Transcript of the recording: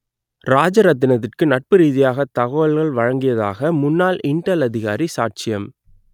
ராஜரத்தினத்துக்கு நட்பு ரீதியாக தகவல்கள் வழங்கியதாக முன்னாள் இன்டெல் அதிகாரி சாட்சியம்